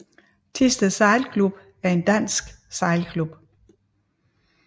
Thisted Sejlklub er en dansk sejlklub